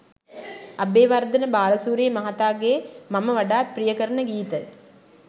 අබේවර්ධන බාලසූරිය මහතාගේ මම වඩාත් ප්‍රිය කරන ගීත